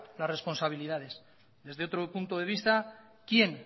las responsabilidades desde otro punto de vista quién